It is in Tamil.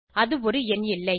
அது ஒரு எண் இல்லை